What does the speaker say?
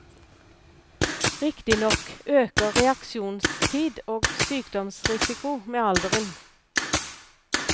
Riktignok øker reaksjonstid og sykdomsrisiko med alderen.